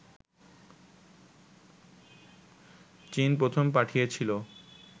চীন প্রথম পাঠিয়েছিলো